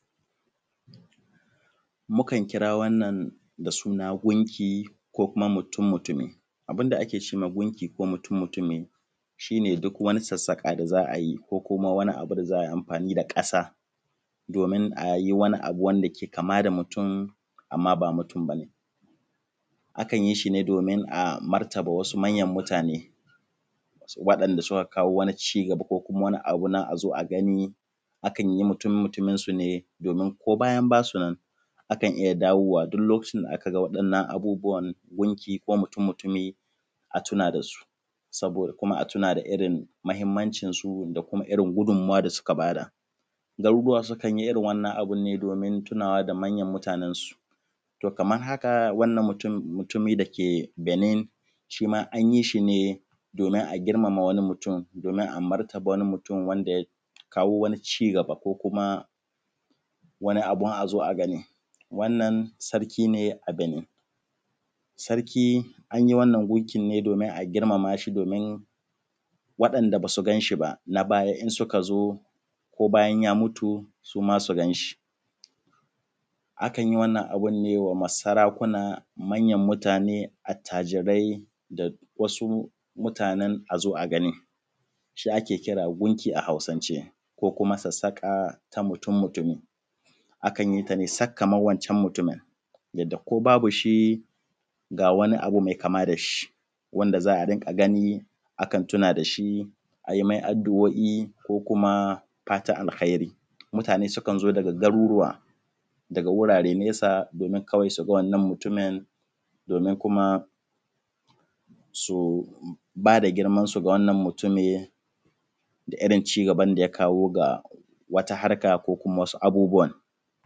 Mukan kira wannan da suna gunki ko mutun-mutumi abin da ake ce ma gunki ko mutun-mutumi shi ne duk wani sassaƙa da za ku gani ko kuma wani abu da za ai amfani da ƙasa domin a yi wanda ke kama da mutun. Amma ba mutun ba ne a kan yi shi ne domin a martaba wasu manyan mutane waɗanda suka kawo wani cigaba ko wani abu na a zo a gani, akan yi mutun-mutumin su ne domin ko bayan ba sunan a kan yi dawowa duk lokacin da aka ga wannan gunki ko mutunmutumi a tuna da su ko abin da da mahinmancinsu ko irin gudunmuwa da suka ba da. Garuruwa sukan yi irin wannan abun ne domin tunawa da manyan mutanensu to kaman haka wannan mutunmutumi da yake benin shi ma an yi shi ne domin a girmama wani mutun ko a martaba wani mutun wanda ya kawo wani ci gaba ko kuma wani abun azo a gani wannan sarki ne a Benin sarki an yi wannan gunkin ne domin a girmamashi domin waɗanda ba su gan shi ba na baya in suka zo ko bayan ya mutu suma su gan shi akan yi wannan abun ne wa sarakuna, manyan mutane, attajirai da wasu mutanen azo a gani shi ake kira gunki a Hausance ko kuma sassaƙa na mutun-mutumi. Akan yi sa ne sak kaman wancan mutumin yadda ko babu shi ga wani abu me kama da shi wanda za a dinga gani a tuna da shi a yi me addu’o’i ko kuma fatan alheri, mutane sukan zo daga garuruwa daga wuraren nesa kwai su ga wannan mutumin domin kuma su ba da girmawansu ga wannan mutumin da irin cigaban da ya kawo a wata harka ko wasu abubuwan.